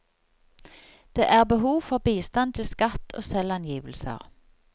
Det er behov for bistand til skatt og selvangivelser.